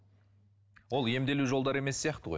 ол емделу жолдары емес сияқты ғой